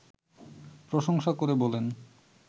প্রশংসা করে বলেন